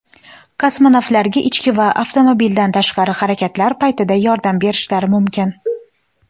kosmonavtlarga ichki va avtomobildan tashqari harakatlar paytida yordam berishlari mumkin.